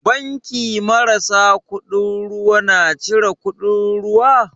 Banki marasa kuɗin ruwa na cire kuɗin ruwa?